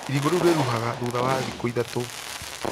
Irigũ riũ rĩruhaga thutha wa thikũ ithatũ